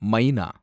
மைனா